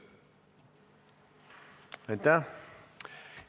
Aitäh!